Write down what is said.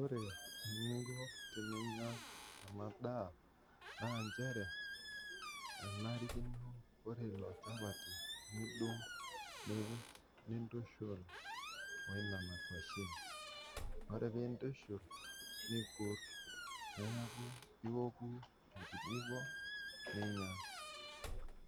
Ore eninko teniya ena daa, naa inchere enarikinpo ore ilo imchapati nidung' nintushul naa o nena inkoshen, ore pee intushul nikurr, neaku ioku enkijiko ninya,